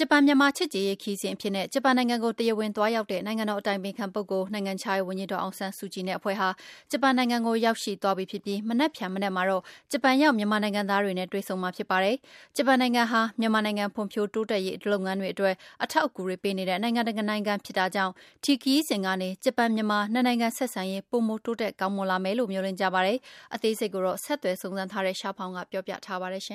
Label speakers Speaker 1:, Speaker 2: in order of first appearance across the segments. Speaker 1: ဂျပန်-မြန်မာ ချစ်ကြည်ရေးခရီးစဉ်အဖြစ်နဲ့ ဂျပန်နိုင်ငံကို တရားဝင်သွားရောက်တဲ့ နိုင်ငံတော်အတိုင်ပင်ခံပုဂ္ဂိုလ် ဒေါ်အောင်ဆန်းစုကြည်နဲ့ အဖွဲ့ဟာ ဂျပန်နိုင်ငံကို ရောက်ရှိသွားပြီး မနက်ဖြန်မနက်မှာတော့ ဂျပန်ရောက် မြန်မာနိုင်ငံသားတွေနဲ့ တွေ့ဆုံမှာ ဖြစ်ပါတယ်။ ဂျပန်နိုင်ငံဟာ မြန်မာနိုင်ငံ ဖွံ့ဖြိုးတိုက်တက်ရေး လုပ်ငန်းတွေအတွက် အထောက်အကူတွေပေးတဲ့ နိုင်ငံတနိုင်ငံဖြစ်တာကြောင့် ဒီခရီးစဉ်ကနေ ဂျပန်-မြန်မာ နှစ်နိုင်ငံ ဆက်ရေး ပိုမို တိုးတက်ကောင်းလာမယ်လို့ မျှော်လင့်ကြပါတယ်။ အသေးစိတ်ကို ဆက်သွယ်ဆုံစမ်းထားတဲ့ ရှားဖောင်က ပြောပြပေးပါမယ်။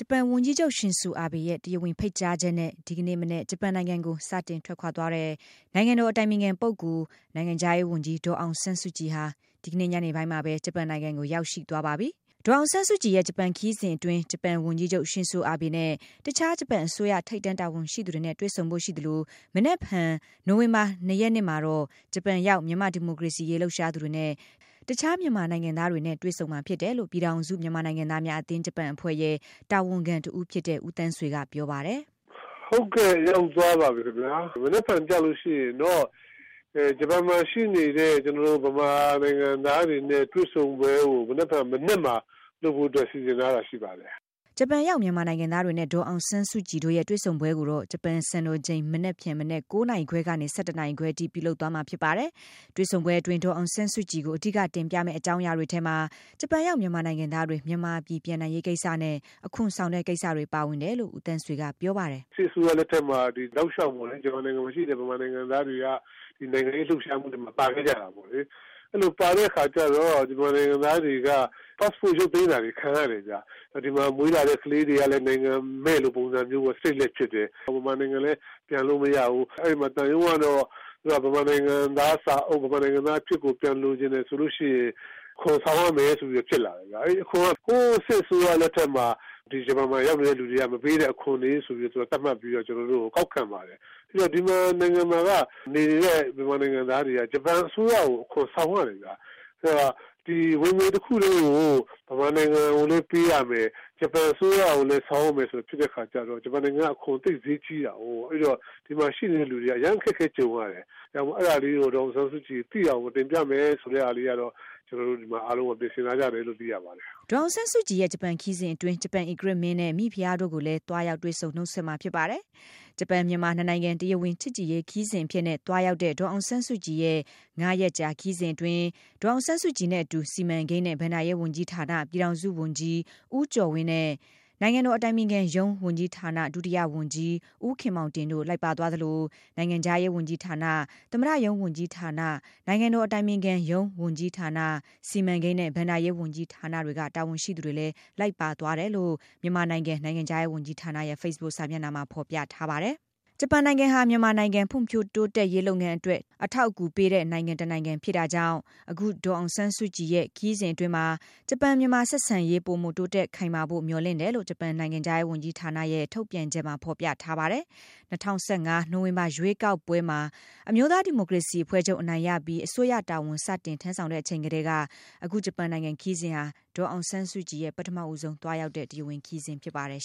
Speaker 2: ဂျပန်ဝန်ကြီးချုပ် ရှင်ဇိုအာဘေ့ရဲ့ တရားဝင်ဖိတ်ကြားချက်နဲ့ ဒီကနေ့မနက် ဂျပန်နိုင်ငံကိုစတင်ထွက်ခွာသွားတဲ့ နိုင်ငံတော် အတိုင်ပင်ခံပုဂ္ဂိုလ်၊ နိုင်ငံခြားရေးဝန်ကြီး ဒေါ်အောင်ဆန်းစုကြည်ဟာ ဒီကနေ့ညနေပိုင်းမှာပဲ ဂျပန်နိုင်ငံကိုရောက်ရှိသွားပါပြီ။ ဒေါ်အောင်ဆန်းစုကြည်ရဲ့ ဂျပန်ခရီးစဉ်အတွင်း ဂျပန်ဝန်ကြီးချုပ် ရှင်ဇိုအာဘေနဲ့ တခြား ဂျပန်အစိုးရထိပ်တန်းတာဝန်ရှိသူတွေနဲ့ တွေ့ဆုံဖို့ရှိသလို မနက်ဖြန် နိုဝင်ဘာလ ၂ ရက်နေ့မှာတော့ ဂျပန်ရောက် မြန်မာ့ဒီမိုကရေစီရေး လှုပ်ရှားသူတွေနဲ့ တခြား မြန်မာနိုင်ငံသားတွေနဲ့ တွေ့ဆုံမှာဖြစ် တယ်လို့ ပြည်ထောင်စုမြန်မာနိုင်ငံသားများအသင်း - ဂျပန် အဖွဲ့ရဲ့ တာဝန်ခံတဦးဖြစ်တဲ့ ဦးသန်းဆွေက ပြောပါတယ်။
Speaker 3: “ ဟုတ်ကဲ့ ရောက်သွားပါပြီခင်ဗျ။ မနက်ဖြန်ကျရင်တော့ ဂျပန်မှာရှိနေတဲ့ မြန်မာနိုင်ငံသားတွေနဲ့တွေ့ဆုံပွဲကို မနက်ဖြန်မနက်မှာ လုပ်ဖို့အတွက် စီစဉ်ထားတာရှိပါတယ်။”
Speaker 2: ဂျပန်ရောက် မြန်မာနိုင်ငံသားတွေနဲ့ ဒေါ်အောင်ဆန်းစုကြည်တို့ရဲ့ တွေ့ဆုံပွဲကိုတော့ ဂျပန် စံတော်ချိန် မနက်ဖြန် မနက် ၉ နာရီခွဲကနေ ၁၁ နာရီခွဲအထိ ပြုလုပ်သွားမှာဖြစ်ပါတယ်။ တွေ့ဆုံပွဲအတွင်း ဒေါ်အောင်ဆန်းစုကြည်ကို အဓိက တင်ပြမယ့် အကြောင်းအရာတွေထဲမှာ ဂျပန်ရောက် မြန်မာနိုင်ငံသားတွေ မြန်မာပြည်ပြန်နိုင်ရေးကိစ္စနဲ့ အခွန်ဆောင်တဲ့ကိစ္စတွေ ပါဝင်တယ်လို့ ဦးသန်းဆွေ ကပြောပါတယ်
Speaker 3: ။ “စစ်အစိုးရလက်ထက်မှာတောက်လျှောက်ပေါ့လေ ဂျပန်နိုင်ငံမှာရှိတဲ့ မြန်မာနိုင်ငံသားတွေက ဒီနိုင်ငံရေးလှုပ်ရှားမှုတွေမှာ ပါခဲ့ကြတာပေါ့လေ။ အဲဒီလိုပါခဲ့ကြတော့ မြန်မာနိုင်ငံသားတွေက Passport ရုပ်သိမ်းတာခံခဲ့ရတယ်လေ။ ဒီမှာမွေးလာတဲ့ ကလေးတွေ ကလည်း နိုင်ငံမဲ့လိုပုံစံမျိုးပေါ့ Stateless ဖြစ်နေ တယ်။ မြန်မာနိုင်ငံ လည်းပြန်လို့မရဘူး အဲဒီမှာ သံရုံးကတော့ မြန်မာနိုင်ငံသား စာအုပ်၊ မြန်မာနိုင်ငံသား အဖြစ်ကို ပြန်လိုချင်တယ်ဆိုရင် အခွန်ဆောင်ရမယ် လို့ဖြစ်လာတယ်ခင်ဗျ။ ဟိုစစ်အစိုးရလက်ထက်မှာ ဒီဂျပန်နိုင်ငံမှာရောက်နေတဲ့ လူတွေ မပေးတဲ့အခွန်တွေ ဆိုပြီးတော့ သူတို့သတ်မှတ်ပြီးတော့ ကျနော်တို့ကို ကောက်ခံပါတယ်။ ဒီနိုင်ငံမှာ နေတဲ့ နိုင်ငံသားတွေက ဂျပန်အစိုးရကို အခွန်ဆောင်ရတယ်ခင်ဗျ။ ဒီဝင်ငွေတခုလုံးကို မြန်မာနိုင်ငံကိုလည်း ပေးရမယ်၊ ဂျပန်အစိုးရကို ဆောင်ရမယ် ဆိုတဲ့အခါကျတော့ ဂျပန်နိုင်ငံက အခွန်သိပ်ဈေးကြီးတာကို အဲဒီတော့ ဒီမှာရှိနေတဲ့လူတွေက အခက်အခဲကြုံရတယ်။ အဲဒါကြောင့်မို့လို့ ဒေါ်အောင်ဆန်းစုကြည် သိအောင် တင်ပြမယ်ဆိုတဲ့ဟာလေးကို ကျနော်တို့အားလုံးပြင်ဆင်ထားကြတယ်လို့ သိရပါတယ်။” ဒေါ်အ
Speaker 2: ောင်ဆန်းစုကြည်ရဲ့ ဂျပန်ခရီးစဉ်အတွင်း ဂျပန်ဧကရာဇ်နဲ့ မိဘုရားတို့ကိုလည်း သွားရောက်ဆွေ့ဆုံ နှုတ်ဆက်မှာဖြစ်ပါတယ်။ ဂျပန်-မြန်မာ နှစ်နိုင်ငံ တရားဝင် ချစ်ကြည်ရေးခရီးစဉ်အဖြစ်နဲ့ သွားရောက်တဲ့ ဒေါ်အောင်ဆန်းစုကြည်ရဲ့ ၅ ရက်ကြာခရီးအတွင်း ဒေါ်အောင်ဆန်းစုကြည်နဲ့အတူ စီမံကိန်းနဲ့ ဘဏ္ဍရေးဝန်ကြီးဌာန ပြည်ထောင်စုဝန်ကြီး ဦးကျော်ဝင်းနဲ့ နိုင်ငံတော်အတိုင်ပင်ခံရုံး ဝန်ကြီးဌာန ဒုတိယဝန်ကြီး ဦးခင်မောင်တင်တို့ လိုက်ပါ သွားသလို နိုင်ငံခြားရေး ဝန်ကြီးဌာန၊ သမရုံးဝန်ကြီးဌာန၊ နိုင်ငံတော်အတိုင်ပင်ခံရုံး ဝန်ကြီးဌာန၊ စီမံကိန်းနဲ့ ဘဏ္ဍာရေးဝန်ကြီးဌာနတွေက တာဝန်ရှိသူတွေလည်း လိုက်ပါသွားတယ် လို့ မြန်မာနိုင်ငံ နိုင်ငံခြားရေး ဝန်ကြီးဌာရဲ့ ဖေ့စ်ဘွတ်စာမျက်နှာ ဖော်ပြထားပါတယ်။ ဂျပန်နိုင်ငံဟာ မြန်မာနိုင်ငံ ဖွံ့ဖြိုးရေးလုပ်ငန်းတွေအတွက် ထောက်ပံ့ကူနေတဲ့ နိုင်ငံ တနိုင်ငံဖြစ်တာကြောင့် အခုဒေါ်အောင်ဆန်းစုကြည်ရဲ့ ခရီးစဉ်အတွင်းမှာ ဂျပန်-မြန်မာဆက်ဆံရေး ပိုမို တိုးတက်ခိုင်မာဖို့ မျှော်လင့်တယ်လို့ ဂျပန်နိုင်ငံခြားရေးဝန်ကြီးဌာရဲ့ ထုတ်ပြန်ချက်မှာ ဖော်ပြထားပါတယ်။ ၂၀၁၅ နိုင်ဝင်ဘာ ရွေးကောက်ပွဲမှာ အမျိုးသားဒီမိုကရေစီအဖွဲ့ချုပ် အနိုင်ရပြီး အစိုးရတာဝန်စတင်ထမ်းဆောင်တဲ့အချိန်ကတည်းက အခု ဂျပန်နိုင်ငံ ခရီးစဉ်ဟာ ဒေါ်အောင်ဆန်းစုကြည်ရဲ့ ပထမဦးဆုံး သွားရောက်တဲ့ တရားဝင်ခရီးစဉ်ဖြစ်ပါတယ်